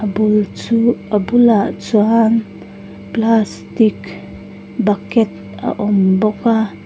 bul chu a bulah chuan plastic bucket a awm bawk a.